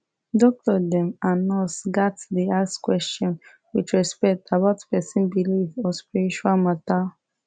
doctor dem and nurse gats dey ask question with respect about person belief or spiritual matter